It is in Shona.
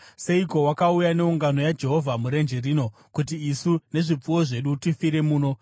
Seiko wakauya neungano yaJehovha murenje rino, kuti isu nezvipfuwo zvedu tifire muno.